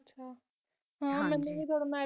ਹਨ